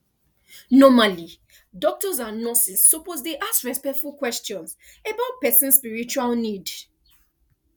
normally doctors and nurses suppose dey ask respectful questions about person spiritual need